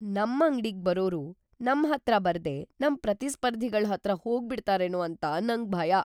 ನಮ್ ಅಂಗ್ಡಿಗ್‌ ಬರೋರು ನಮ್ ಹತ್ರ ಬರ್ದೇ ನಮ್ ಪ್ರತಿಸ್ಪರ್ಧಿಗಳ್ ಹತ್ರ ಹೋಗ್ಬಿಡ್ತಾರೇನೋ ಅಂತ ನಂಗ್ ಭಯ.